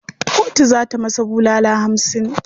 Kotu za ta masa bulala hamsin.